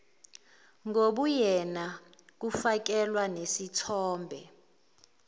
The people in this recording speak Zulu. ngobuyena kufakelwa nesithombe